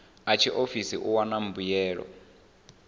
a tshiofisi u wana mbuelo